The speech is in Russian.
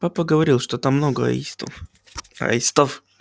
папа говорил что там много аистов